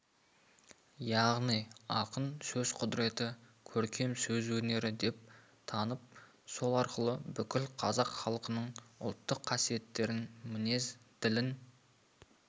яғни ақын сөз құдіреті көркем сөз өнері деп танып сол арқылы бүкіл қазақ халқының ұлттық қасиеттерін мінезін ділін